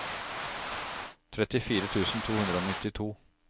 trettifire tusen to hundre og nittito